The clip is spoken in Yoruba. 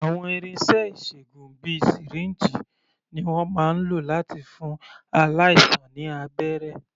Àwọn irinṣẹ́ ìṣègùn bíi sìríǹjì ni wọ́n máa ń lò láti fún aláìsàn ní abẹ́rẹ́.